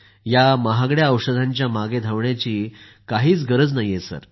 या महागड्या औषधांच्या मागं धावण्याची काहीच गरज नाही सर